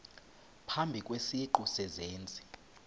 phambi kwesiqu sezenzi